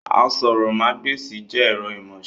Àsòrọmagbesi jẹ ẹ̀rọ imọ̀ọ́ṣe